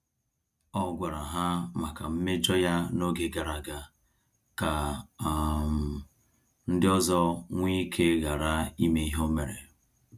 Ọ gwara ha maka mmejọ ya na-oge gara aga ka um ndị ọzọ nweike ghara ime ihe o mere